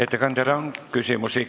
Ettekandjale on küsimusi.